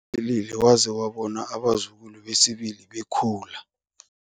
philile waze wabona abazukulu besibili bekhula.